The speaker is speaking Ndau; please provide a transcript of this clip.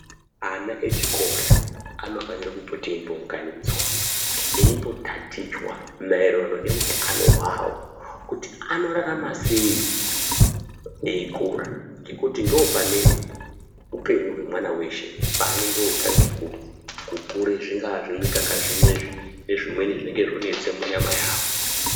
Ana echikora anofanire kupote eimbounganidzwa eimbotatichwa maererano neutano hwawo kuti anorarama sei veikura ngekuti ndopane upenyu hwaana eshe paanenge otange ku kukure zvingaa zvimikaka zvinezvi Nezvimweni zvinenge zvonesa munyama yawo.